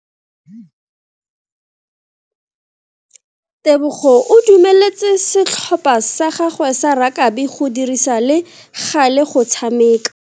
Tebogo o dumeletse setlhopha sa gagwe sa rakabi go dirisa le gale go tshameka.